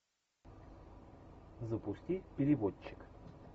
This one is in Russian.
запусти переводчик